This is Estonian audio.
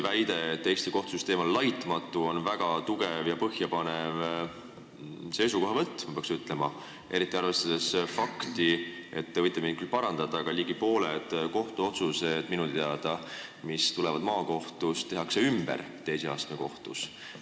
Väide, et Eesti kohtusüsteem on laitmatu, on kindlasti väga tugev ja põhjapanev seisukohavõtt, eriti arvestades seda fakti – te võite mind küll parandada –, et ligi pooled kohtuotsused, mis tulevad maakohtust, tehakse minu teada teise astme kohtus ümber.